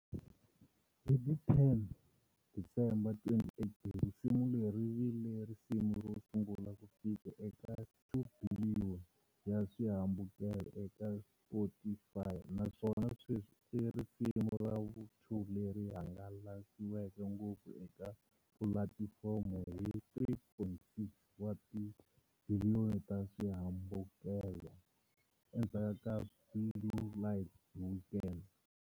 Hi ti 10 December 2018, risimu leri ri vile risimu ro sungula ku fika eka 2 biliyoni ya swihambukelo eka Spotify naswona sweswi i risimu ra vu-2 leri hangalasiweke ngopfu eka pulatifomo hi 3.6 wa tibiliyoni ta swihambukelo, endzhaku ka" Blinding Lights" hi Weeknd.